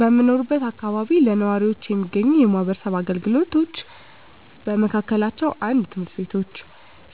በምኖርበት አካባቢ ለነዋሪዎች የሚገኙ የማህበረሰብ አገልግሎቶች በመካከላቸው፣ 1. ትምህርት ቤቶች፣